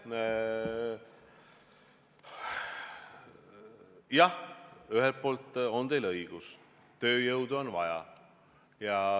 Jah, ühelt poolt on teil õigus, tööjõudu on vaja.